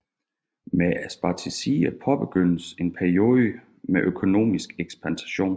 Med Spartaciderne påbegyndtes en peiode med økonomisk ekspansion